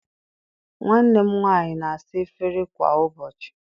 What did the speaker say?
Nwanne m nwaanyị na-asa efere kwa ụbọchị